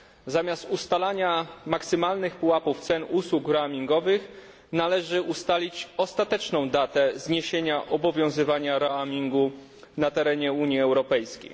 Zamiast ustalania maksymalnych pułapów cen usług roamingowych należy ustalić ostateczną datę zniesienia obowiązywania roamingu na terenie Unii Europejskiej.